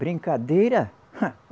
Brincadeira? Ah